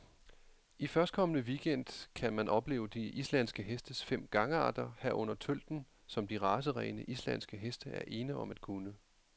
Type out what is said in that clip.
I førstkommende weekend gang kan man opleve de islandske hestes fem gangarter, herunder tølten, som de racerene, islandske heste er ene om at kunne.